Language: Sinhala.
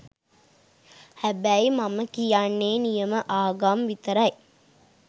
හැබැයි මම කියන්නේ නියම ආගම් විතරයි .